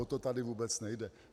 O to tady vůbec nejde.